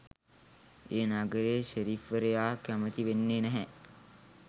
ඒ නගරේ ෂෙරිෆ්වරයා කැමති වෙන්නෙ නැහැ.